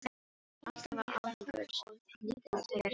Alltaf án árangurs, líka þegar skipin voru farin.